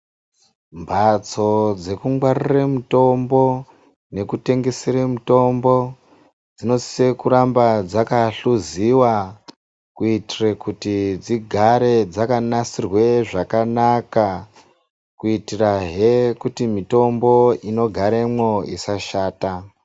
Mbatso dzekungwarire mutombo nekutengesere mutombo dzinosise kuramba dzakahluziwa kuitire kuti dzigare dzakanasirwa zvakanaka kuitirahe mitombo inogaremwo isashata.